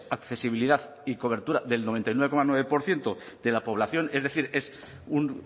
accesibilidad y cobertura del noventa y nueve coma nueve por ciento de la población es decir es un